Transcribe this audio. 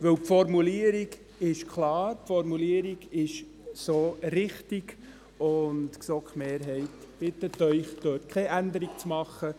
Weil: Die Formulierung ist klar, sie ist so richtig, und die GSoK-Mehrheit bittet Sie, beim Buchstaben b keine Änderung zu machen.